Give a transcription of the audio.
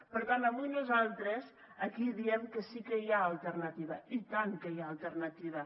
per tant avui nosaltres aquí diem que sí que hi ha alternativa i tant que hi ha alternativa